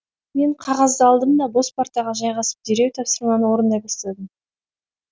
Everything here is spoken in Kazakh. мен қағазды алдым да бос партаға жайғасып дереу тапсырманы орындай бастадым